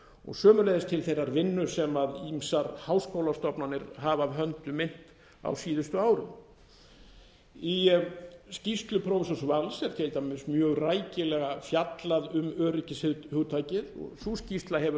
og sömuleiðis til þeirrar vinnu sem ýmsar háskólastofnanir hafa af höndum innt á síðustu árum í skýrslu prófessors vals er til dæmis mjög rækilega fjallað um öryggishugtakið sú skýrsla hefur